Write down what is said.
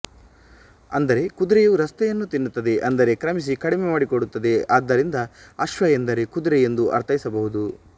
ಅಂದರೆ ಕುದುರೆಯು ರಸ್ತೆಯನ್ನುತಿನ್ನುತ್ತದೆ ಅಂದರೆ ಕ್ರಮಿಸಿ ಕಡಿಮೆ ಮಾಡಿಕೊಡುತ್ತದೆ ಆದ್ದರಿಂದ ಅಶ್ವಎಂದರೆ ಕುದುರೆ ಎಂದು ಅರ್ಥೈಸ ಬಹುದು